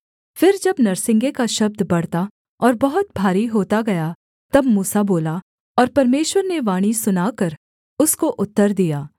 फिर जब नरसिंगे का शब्द बढ़ता और बहुत भारी होता गया तब मूसा बोला और परमेश्वर ने वाणी सुनाकर उसको उत्तर दिया